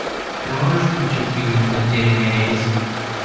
ты можешь включить фильм потерянный рейс